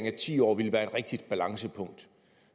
at ti år ville være et rigtigt balancepunkt